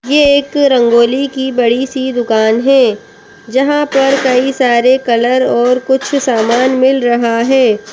ये एक रंगोली की बड़ी सी दुकान है जहाँ पर कई सारे कलर और कुछ सामान मिल रहा है।